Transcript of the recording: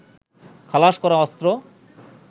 খালাস করা অস্ত্র